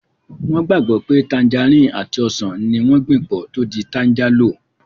Wọ́n gbàgbọ́ pé tanjarínnì àti ọsàn ní wọ́n gbìn pọ̀ tó di tanjálò